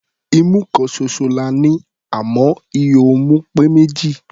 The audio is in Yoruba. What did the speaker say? Imú kan ṣoṣo la ní, àmọ́ ihò imú pé méjì.